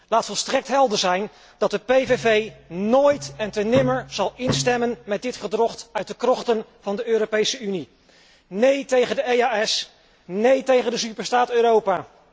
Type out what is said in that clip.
Laat volstrekt helder zijn dat de PVV nooit en te nimmer zal instemmen met dit gedrocht uit de krochten van de Europese Unie. Nee tegen de EDEO, nee tegen de superstaat Europa.